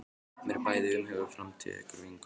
Mér er bæði umhugað um framtíð ykkar og vinkonu minnar.